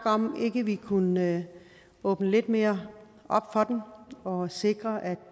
om ikke vi kunne åbne lidt mere op for den og sikre at